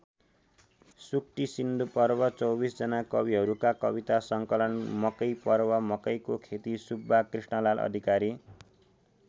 सूक्तिसिन्धुपर्व २४ जना कविहरूका कविता सङ्कलन मकै पर्व मकैको खेती सुब्बा कृष्णलाल अधिकारी।